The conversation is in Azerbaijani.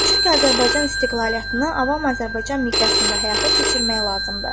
Çünki Azərbaycan istiqlaliyyətini avam Azərbaycan miqyasında həyata keçirmək lazımdır.